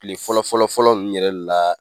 Kile fɔlɔ fɔlɔ fɔlɔ nunnu yɛrɛ la